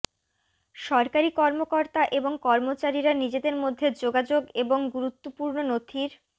সরকারি কর্মকর্তা এবং কর্মচারীরা নিজেদের মধ্যে যোগাযোগ এবং গুরুত্বপূর্ণ নথির